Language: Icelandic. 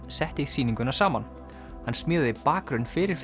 setti sýninguna saman hann smíðaði bakgrunn fyrir